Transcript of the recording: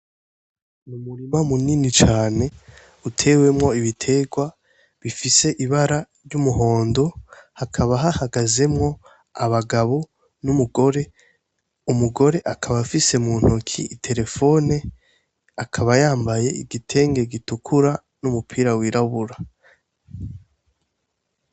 Mu murima munini cane utewemwo ibiterwa bifise ibara ry'umuhondo hakaba hahagazemwo abagabo n'umugore umugore akaba afise mu ntoki iterefone akabayambaye igitenge gitukura n'umupira wirabura.